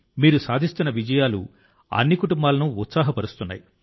మీరు సాధిస్తున్న విజయాలు అన్ని కుటుంబాలను ఉత్సాహపరుస్తాయి